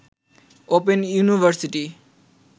open university